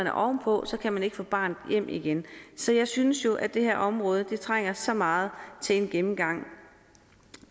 er oven på kan man ikke få barnet hjem igen så jeg synes jo at det her område trænger så meget til en gennemgang